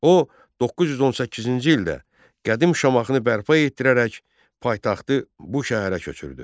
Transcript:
O 918-ci ildə qədim Şamaxını bərpa etdirərək paytaxtı bu şəhərə köçürdü.